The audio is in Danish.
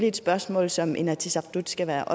et spørgsmål som inatsisartut skal være